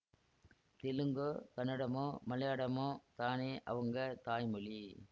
தெலுங்கோ கன்னடமோ மலையாளமோ தானே அவங்க தாய் மொழி